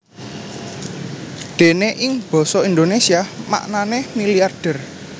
Déné ing basa Indonésia maknané milyarder